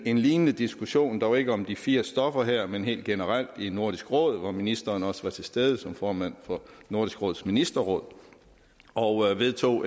en lignende diskussion dog ikke om de fire stoffer her men helt generelt i nordisk råd hvor ministeren også var til stede som formand for nordisk råds ministerråd og vedtog